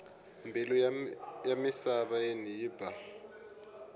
mbilu ya misaveni yi ba